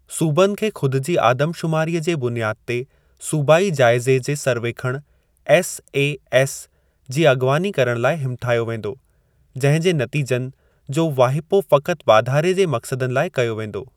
सूबनि खे ख़ुदि जी आदमशुमारीअ जे बुनियाद ते 'सूबाई जाइज़े जे सर्वेखणु' (एस ऐ एस) जी अॻवानी करणु लाइ हिमथायो वेंदो, जंहिं जे नतीजनि जो वाहिपो फ़क़ति वाधारे जे मक़्सदनि लाइ कयो वेंदो।